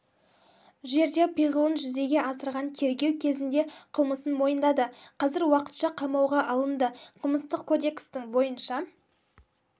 жерде пиғылын жүзеге асырған тергеу кезінде қылмысын мойындады қазір уақытша қамауға алынды қылмыстық кодекстің бойынша